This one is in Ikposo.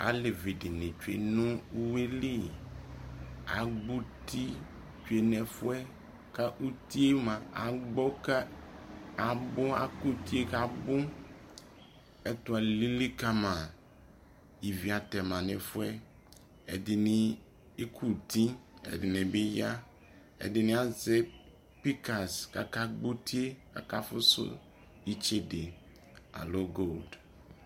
Alevi dι nι tsue nʋ uwi lιAgbɔ uti tsue nʋ ɛfu yɛ kʋ uti yɛ mua abgɔ kʋ abʋ ekʋ uti yɛ kʋ abʋƐtu alili kama Ivi atɛ ma nʋ ɛfu yɛ Ɛdι nι ekuti, ɛdι nι bι ya, ɛdι nι azɛ pikas kakagbɔ uti yɛ kakafusu itsede alo goldι